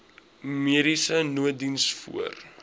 mediese nooddiens voor